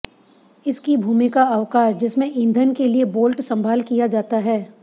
इसकी भूमिका अवकाश जिसमें ईधन के लिए बोल्ट संभाल किया जाता है